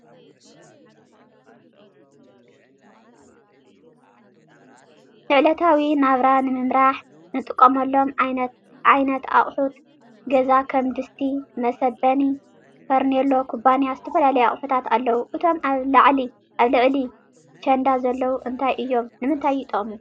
ንዕለታዊ ናብራ ንምምራሕ እንጥቀመሎም ዓይነት ኣቁት ገዛ ከም ድስቲ ፣መሰበኒ ፣ ፈርኒሎ፣ ኩባያን ዝተፈላለዩ አቁሑት ኣለዉ። እቶም ኣብ ልዕሊ ቸንዳ ዘለዉ እንታይ እዩም? ንምንተይ ይጠቅሙ ?